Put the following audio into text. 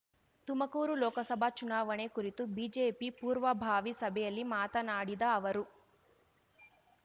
ತುಮಕೂರು ಲೋಕಸಭಾ ಚುನಾವಣೆ ಕುರಿತು ಬಿಜೆಪಿ ಪೂರ್ವಭಾವಿ ಸಭೆಯಲ್ಲಿ ಮಾತನಾಡಿದ ಅವರು